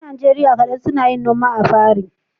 Yan Najeriya kaɗan suna yin noma apiary